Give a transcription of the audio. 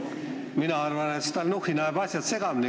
Ma arvan, et Stalnuhhin ajab asjad segamini.